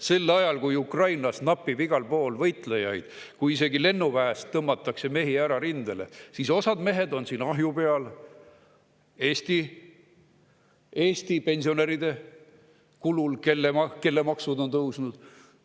Sel ajal, kui Ukrainas napib igal pool võitlejaid, isegi lennuväest tõmmatakse mehi ära rindele, on osa mehi siin ahju peal Eesti pensionäride kulul, kelle maksud on tõusnud.